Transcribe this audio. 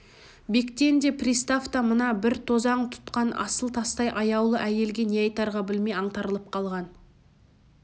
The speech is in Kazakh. бектен болыс та пристав та мына бір тозаң тұтқан асыл тастай аяулы әйелге не айтарға білмей аңтарылып қалған